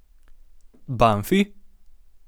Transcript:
Banfi?